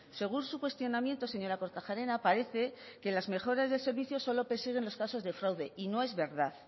según su cuestionamiento señora kortajarena parece que las mejoras del servicio solo persiguen los casos de fraude y no es verdad